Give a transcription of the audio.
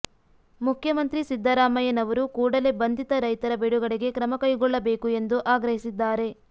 ಮುಖ್ಯಮಂತ್ರಿ ಸಿದ್ದರಾಮಯ್ಯನವರು ಕೂಡಲೇ ಬಂಧಿತ ರೈತರ ಬಿಡುಗಡೆಗೆ ಕ್ರಮ ಕೈಗೊಳ್ಳಬೇಕು ಎಂದು ಆಗ್ರಹಿಸಿದ್ದಾರೆ